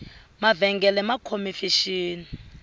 mavengele ma khome fexeni